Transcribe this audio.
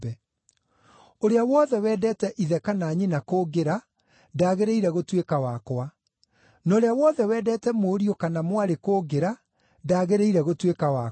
“Ũrĩa wothe wendete ithe kana nyina kũngĩra ndagĩrĩire gũtuĩka wakwa; na ũrĩa wothe wendete mũriũ kana mwarĩ kũngĩra ndagĩrĩire gũtuĩka wakwa;